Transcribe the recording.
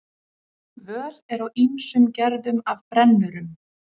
Völ er á ýmsum gerðum af brennurum.